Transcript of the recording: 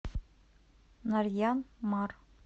нарьян мар